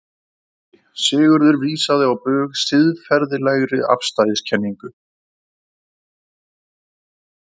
Nei, Sigurður vísaði á bug siðferðilegri afstæðiskenningu.